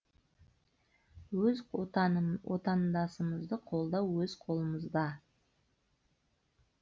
өз отандасымызды қолдау өз қолымызда